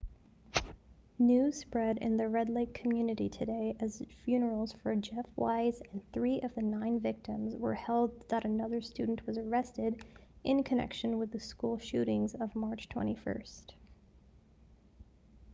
news spread in the red lake community today as funerals for jeff weise and three of the nine victims were held that another student was arrested in connection with the school shootings of march 21